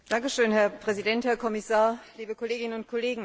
Herr Präsident, Herr Kommissar, liebe Kolleginnen und Kollegen!